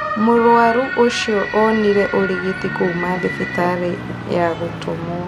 Mũrwarũ ũcio onire ũrigiti kũũma thibitarĩ ya gũtũmwo